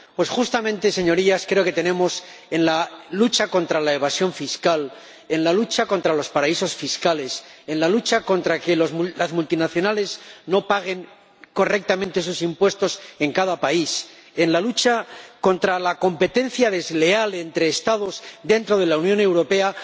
Pues, justamente, Señorías, creo que tenemos en la lucha contra la evasión fiscal, en la lucha contra los paraísos fiscales, en la lucha contra el hecho de que las multinacionales no paguen correctamente sus impuestos en cada país, en la lucha contra la competencia desleal entre Estados dentro de la Unión Europea